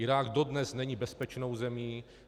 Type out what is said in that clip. Irák dodnes není bezpečnou zemí.